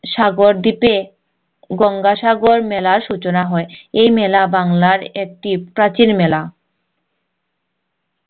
সাগর দ্বীপে গঙ্গা সাগর মেলার সূচনা হয় এই মেলা বাংলার একটি প্রাচীন মেলা